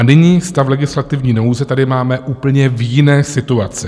A nyní stav legislativní nouze tady máme úplně v jiné situaci.